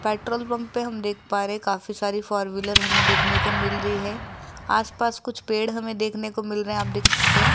Petrol pump पर हम देख पा रहे काफी सारी फोर व्हीलर हमें देखने को मिल रही है आसपास कुछ पेड़ हमें देखने को मिल रहे हैं आप देख सकते हैं।